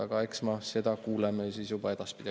Aga eks seda kuuleme juba edaspidi.